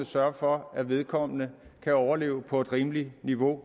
sørge for at vedkommende kan overleve på et rimeligt niveau